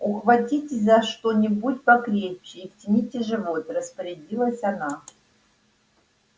ухватитесь за что-нибудь покрепче и втяните живот распорядилась она